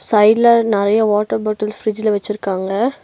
சைடுல நறைய water bottles ஃப்ரிட்ஜ்ல வச்சிருக்காங்க.